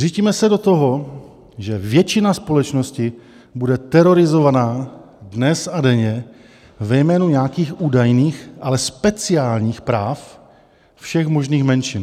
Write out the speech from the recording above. Řítíme se do toho, že většina společnosti bude terorizovaná dnes a denně ve jménu nějakých údajných, ale speciálních práv všech možných menšin.